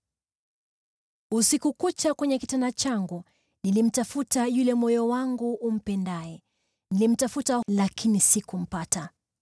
Usiku kucha kwenye kitanda changu nilimtafuta yule moyo wangu umpendaye; nilimtafuta, lakini sikumpata.